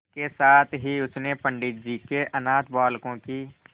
इसके साथ ही उसने पंडित जी के अनाथ बालकों की